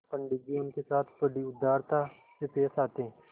पंडित जी उनके साथ बड़ी उदारता से पेश आते